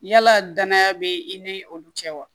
Yala danaya bɛ i ni olu cɛ wa